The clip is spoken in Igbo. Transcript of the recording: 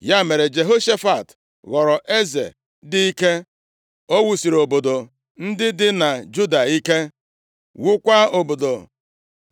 Ya mere, Jehoshafat ghọrọ eze dị ike. O wusiri obodo ndị dị na Juda ike, wukwaa obodo